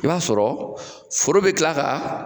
I b'a sɔrɔ foro bi kila ka